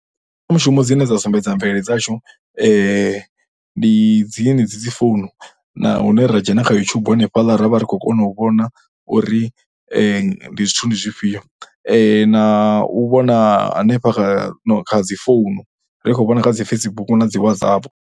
Mbekanyamushumo dzine dza sumbedza mvelele dzashu ndi dzinedzi dzi founu na hune ra dzhena kha YouTube hanefhaḽa ra vha ri khou kona u vhona uri ndi zwithu, ndi zwifhio na u vhona hanefha kha dzi founu ri khou vhona kha dzi Facebook na dzi WhatsApp.